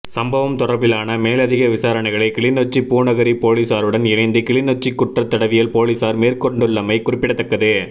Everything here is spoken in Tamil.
சம்பவம் தொடர்பிலான மேலதிக விசாரணைகளை கிளிநொச்சிபூநகரி பொலிஸாருடன் இணைந்து கிளிநொச்சிகுற்றத் தடயவியல் பொலிசார் மேற்கொண்டுள்ளமை குறிப்பிடத்தக்கது